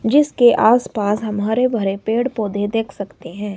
जिसके आस पास हम हरे भरे पेड़ पौधे देख सकते हैं।